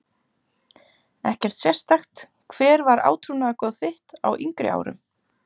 Ekkert sérstakt Hvert var átrúnaðargoð þitt á yngri árum?